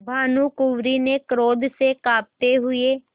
भानुकुँवरि ने क्रोध से कॉँपते हुए